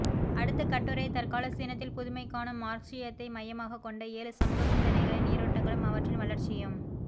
அடுத்த கட்டுரைதற்கால சீனத்தில் புதுமைகாணும் மார்க்ஸியத்தை மையமாகக் கொண்ட ஏழு சமூக சிந்தனைகளின் நீரோட்டங்களும் அவற்றின் வளர்ச்சியும்